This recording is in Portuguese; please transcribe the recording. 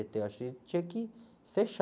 Eu acho que a gente tinha que fechar.